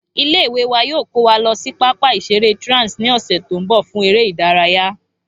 Ilé ìwé wa yóò kó wa lo sí pápá ìseré Trans ní òsè tó n bò fún eré ìdárayá